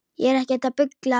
Ég er ekkert að bulla.